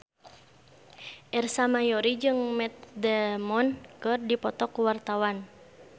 Ersa Mayori jeung Matt Damon keur dipoto ku wartawan